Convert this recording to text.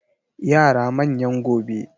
Yara manyan gobe.